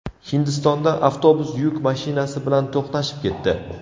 Hindistonda avtobus yuk mashinasi bilan to‘qnashib ketdi.